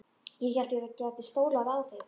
Ég hélt ég gæti stólað á þig.